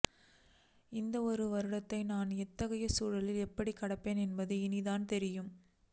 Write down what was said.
இந்த ஒரு வருடத்தை நான் இத்தகைய சூழலில் எப்படி கடப்பேன் என்பது இனிதான் தெரியும்